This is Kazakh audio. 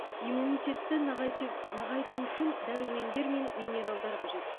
иммунитетті нығайтю нығайту үшін дәрумендер мен минералдар қажет